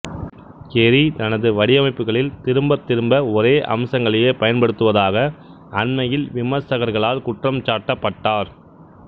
கெரி தனது வடிவமைப்புகளில் திரும்பத் திரும்ப ஒரே அம்சங்களையே பயன்படுத்துவதாக அண்மையில் விமர்சகர்களால் குற்றம் சாட்டப்பட்டார்